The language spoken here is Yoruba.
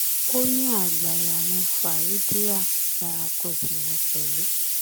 ó ní àgbáyà ni fàhédíà ẹranko sì ní pẹ̀lú